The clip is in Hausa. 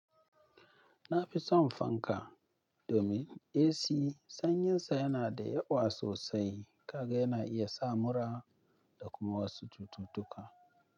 Na fi son fanka. Domin AC sanyinsa yana da yawa sosai kaga yana iya sa mura da kuma wasu cututtuka.